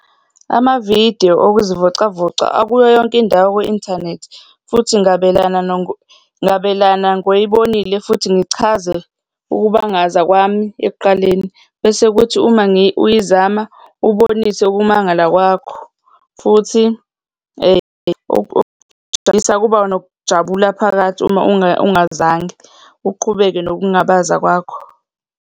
Amavidiyo okuzivocavoca akuyo yonke indawo kwi-inthanethi futhi ngabelana ngabelana ngoyibonile, futhi ngichaze ukubangaza kwami ekuqaleni, bese kuthi uma uyizama ubonise ukumangala kwakho, futhi kuba nokujabula phakathi uma ungazange uqhubeke nokungabaza kwakho.